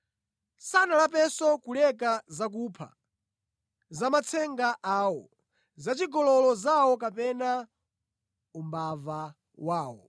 Sanalapenso kuleka zakupha, zamatsenga awo, zachigololo zawo kapena umbava wawo.